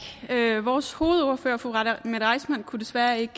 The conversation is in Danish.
vores ordfører fru mette reissmann kunne desværre ikke